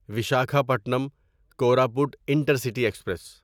Visakhapatnam Koraput intercity express